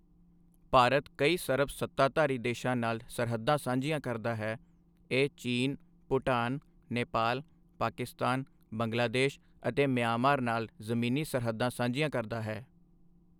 ਭਾਰਤ ਕਈ ਸਰਬ ਸੱਤਾਧਾਰੀ ਦੇਸ਼ਾ ਨਾਲ ਸਰਹੱਦਾਂ ਸਾਂਝੀਆਂ ਕਰਦਾ ਹੈ, ਇਹ ਚੀਨ, ਭੂਟਾਨ, ਨੇਪਾਲ, ਪਾਕਿਸਤਾਨ, ਬੰਗਲਾਦੇਸ਼ ਅਤੇ ਮਿਆਂਮਾਰ ਨਾਲ ਜ਼ਮੀਨੀ ਸਰਹੱਦਾਂ ਸਾਂਝੀਆਂ ਕਰਦਾ ਹੈ।